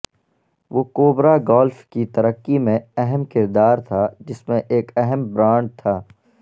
وہ Cobra golf کی ترقی میں اہم کردار تھا جس میں ایک اہم برانڈ تھا